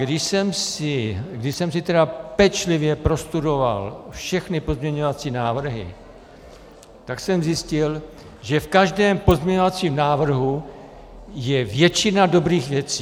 Když jsem si tedy pečlivě prostudoval všechny pozměňovací návrhy, tak jsem zjistil, že v každém pozměňovacím návrhu je většina dobrých věcí.